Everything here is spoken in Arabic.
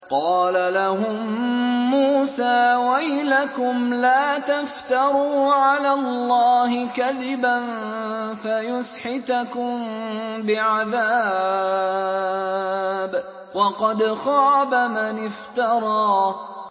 قَالَ لَهُم مُّوسَىٰ وَيْلَكُمْ لَا تَفْتَرُوا عَلَى اللَّهِ كَذِبًا فَيُسْحِتَكُم بِعَذَابٍ ۖ وَقَدْ خَابَ مَنِ افْتَرَىٰ